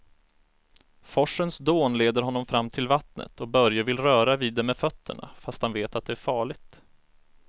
Forsens dån leder honom fram till vattnet och Börje vill röra vid det med fötterna, fast han vet att det är farligt.